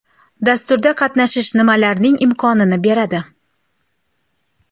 Dasturda qatnashish nima larning imkon ini beradi?